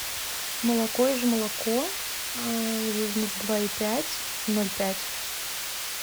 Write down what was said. молоко ижмолоко жирность два и пять ноль пять